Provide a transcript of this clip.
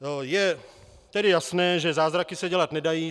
Je tedy jasné, že zázraky se dělat nedají.